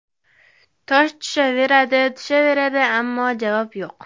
Tosh tushaveradi, tushaveradi… Ammo javob yo‘q”.